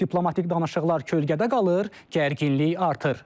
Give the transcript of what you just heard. Diplomatik danışıqlar kölgədə qalır, gərginlik artır.